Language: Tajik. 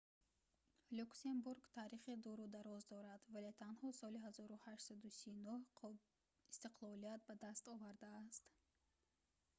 люксембург таърихи дуру дароз дорад вале танҳо соли 1839 истиқлолият ба даст овардааст